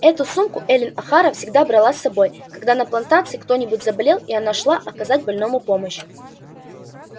эту сумку эллин охара всегда брала с собой когда на плантации кто-нибудь заболевал и она шла оказать больному помощь